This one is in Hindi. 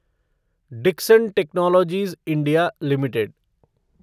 Dixon technologies India limited